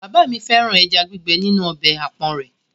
Bàbá mi fẹ́ràn ẹja gbígbẹ́ nínú ọbẹ̀ àpọ̀n rẹ̀.